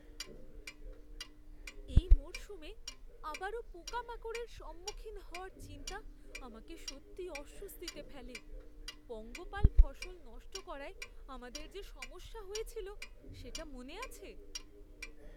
এই মরশুমে আবারও পোকামাকড়ের সম্মুখীন হওয়ার চিন্তা আমাকে সত্যিই অস্বস্তিতে ফেলে। পঙ্গপাল ফসল নষ্ট করায় আমাদের যে সমস্যা হয়েছিল সেটা মনে আছে?